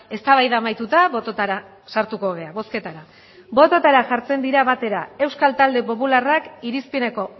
eztabaida amaituta bototara sartuko gara bozketara bototara jartzen dira batera euskal talde popularrak irizpeneko